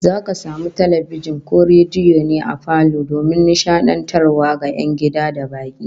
Zaka samu talbijin ko rediyo ne a falo domin nishadantarwa ga 'yan gida da baki